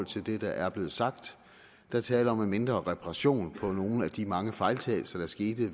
til det der er blevet sagt der er tale om en mindre reparation af nogle af de mange fejltagelser der skete